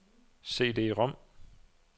CD-rom